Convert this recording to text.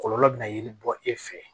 Kɔlɔlɔ bɛ na yiri bɔ e fɛ